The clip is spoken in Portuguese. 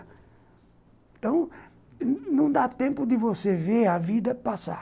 Então, não dá tempo de você ver a vida passar.